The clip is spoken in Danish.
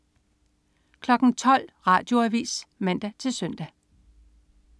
12.00 Radioavis (man-søn)